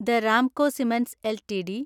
the Ramco cements LTD